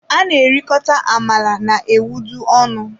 A na erikota amala na ewedu ọnụ.